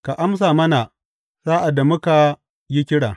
Ka amsa mana sa’ad da muka yi kira!